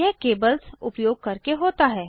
यह केबल्स उपयोग करके होता है